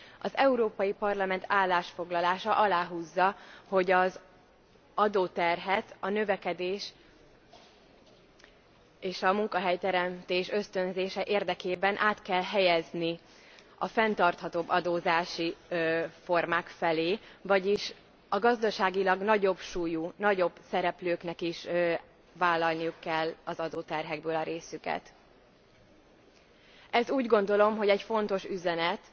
Az Európai Parlament állásfoglalása aláhúzza, hogy az adóterhet a növekedés és a munkahelyteremtés ösztönzése érdekében át kell helyezni a fenntarthatóbb adózási formák felé, vagyis a gazdaságilag nagyobb súlyú, nagyobb szereplőknek is vállalniuk kell az adóterhekből a részüket. Ez úgy gondolom, hogy egy fontos üzenet.